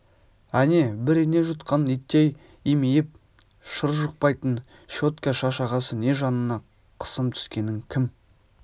әне бір ине жұтқан иттей имиіп шыр жұқпайтын щетка шаш ағасы не жанына қысым түскенін кім